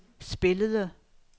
spillede